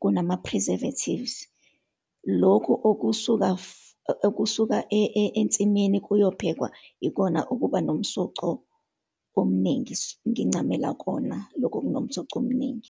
kunama-preservatives. Lokhu okusuka okusuka ensimini kuyophekwa, yikona ukuba nomsoco omuningi. Ngincamela kona lokho okunomsoco omningi.